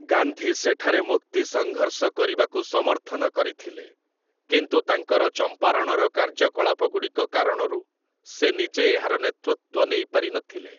ଗାନ୍ଧୀ ସେଠାରେ ମୁକ୍ତିସଂଘର୍ଷ କରିବାକୁ ସମର୍ଥନ କରିଥିଲେ, କିନ୍ତୁ ତାଙ୍କର ଚମ୍ପାରଣର କାର୍ଯ୍ୟକଳାପଗୁଡ଼ିକ କାରଣରୁ ସେ ନିଜେ ଏହାର ନେତୃତ୍ୱ ନେଇପାରିନଥିଲେ ।